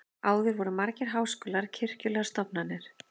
áður voru margir háskólar kirkjulegar stofnanir